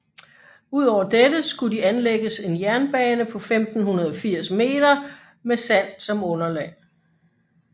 Udover dette skulle de anlægges en landingsbane på 1580 meter med sand som underlag